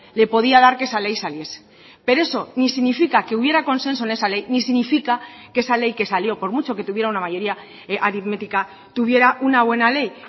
le podía dar que esa ley saliese pero eso ni significa que hubiera consenso en esa ley ni significa que esa ley que salió por mucho que tuviera una mayoría aritmética tuviera una buena ley